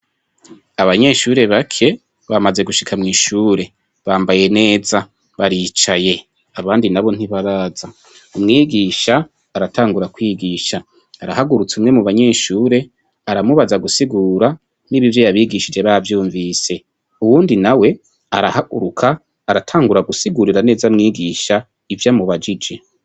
Abanyeshure bake bamaze gushika mw'ishure, bambaye neza baricaye, abandi nabo ntibaraza, umwigisha aratangura kwigisha, arahagurutsa umwe mu banyeshure aramubaza gusigura niba ivyo yabigishije bavyumvise, uwundi nawe arahaguruka aratangura gusigurira neza mwigisha ivyo amubajije.